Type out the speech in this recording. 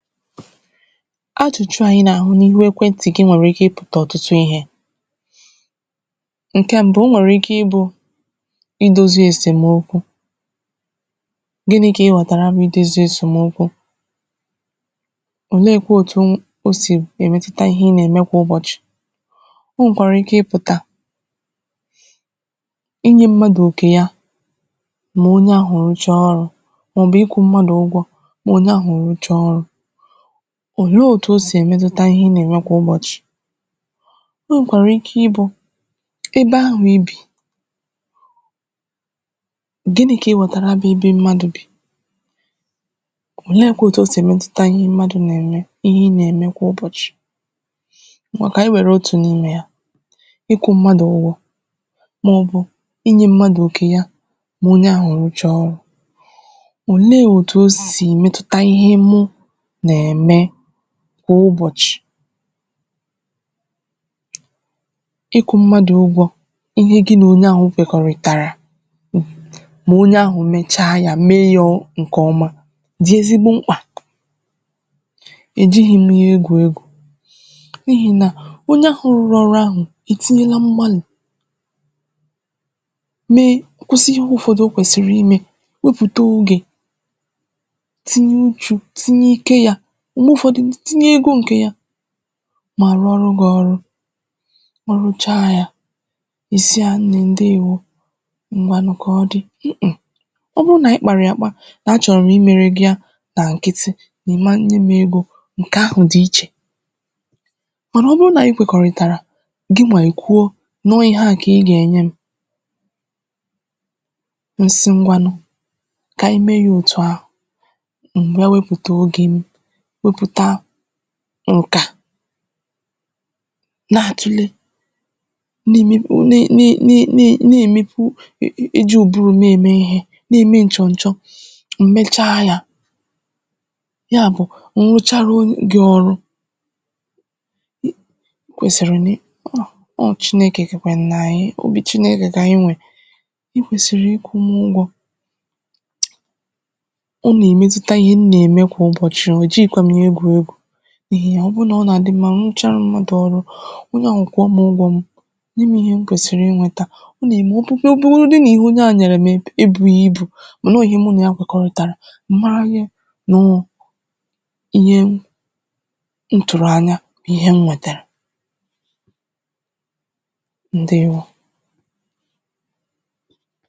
Achùchụ̀ a anyị̀ na-ahụ̀ n’ihù ekwè ntị̀ gị̀ nwerè ike ịpụ̀tà ọtụ̀ ihe nkè mbụ̀ o nwerè ike ịbụ̀ idozì esèmokwù gịnị̀ kà ịghọ̀tarà bụ̀ edozì esèmokwù olekwà otù osè emetùtà ihe ị na-emè kwà ụbọchị̀ o nwèkwarà ike ịpụ̀tà inyè mmadụ̀ nkè yà mà onyè ahụ̀ rụchà ọrụ̀ maọ̀bụ̀ ikwụ̀ mmadụ̀ ụgwọ̀ mà onyè ahụ̀ rụchà ọrụ̀ olè otù o sì emètutà ihe ị na-emè kwà ụbọchị̀ o nwekwarà ike ịbụ̀ ebe ahụ̀ ibì gịnị̀ kà ị wọtarà bụ̀ ebe mmadụ̀ bì olekwà otù o sì emetùtà ihe mmadụ̀ na-emè ihè ị na-emè kwà ụbọchị̀ ngwà kà anyị̀ werè otù n’imè yà ịkwụ̀ mmadụ̀ ụgwọ̀ maɔ̣̀bụ̀ inyè mmadụ̀ okè yà mà onyè ahụ̀ rụchà ọrụ̀ o nee otù o sì metùtà ihe mụ̀ na-emè kwà ụbọchì ịkwụ̀ mmadụ̀ ụgwọ̀ ihe gị̀ nà onyè ahụ̀ kwekọ̀rị̀tàrà mà onyè ahụ̀ mechà yà, mee yà nkè ọmà dị̀ ezigbò m̄kpà e jighì m yà egwù egwù n’ihi nà onyè ahụ̀ rụrù ọrụ̀ ahụ̀ etinyelà m̄gbalị̀ mee okwesì ihe ụfọdụ̀o kwesirì imè weputà ogè tinyè uchù, tinyè ike yà m̄gbè ụfọdụ̀, i tinyè egō nkè yà mà rụọrụ̀ gị̀ ọrụ̀ ọ rụchà yà ị sị̀ anyị̀ ndewò ngwanụ̀ kà ọ dị̀, um ọ bụrụ̀ naanyị̀ kparà yà akpà a chọrọ̀ m imerè gì yà nà nkị̀tị̀ ị mà nyè m egō nkè ahụ̀ dị̀ ichè mànà ọbụrụ̀ nà anyị̀ kwekòritàrà gị̀ nwa i kwuò nọ̀ ihe à kà ị ga-enyè m mụ̀ sị̀ ngwanụ̀ kà anyị̀ mee yà otù ahụ̀ mụ̀ bịà wepùtà ogè m wepùtà nkà na-atulè na-emepù, nị nị̀ na-emepù ijì ụbụrụ̀ na-emè ihe na-emè nchọ̀ nchọ̀ mụ̀ mechà yà yà bụ̀ mụ̀ rụcharà gị̀ ọrụ̀ i kwesirì nà ọ nọ̀ ọ Chinekè kekwè nà anyị̀, obì Chinekè kà anyị̀ nwè i kesirì ịkwụ̀ m ụgwọ̀ ọ na-emètutà ihe ihe m na-emè kwà ụbọchị̀, o jighikwà m egwù egwù n’ihì nà ọ bụrụ̀ nà ọ na-adị̀ mmà, mụ̀ rụcharà mmadụ̀ ọrụ̀ onyè ahụ̀ kwụọ̀ m ụgwọ̀ m nyè m ihe m kwesirì inwetà ọ na-emè ọbụrụ̀godù n’ihe onyè ahụ̀ nyere m dị̀ ebùghì ibù mànà ihè mụ̀ nà yà kwekọ̀rị̀tarà ị màrà ihe nọọ̀ ihe m mụ̀ tu̇rụ̀ anya ihe m nwetarà. Ndewò!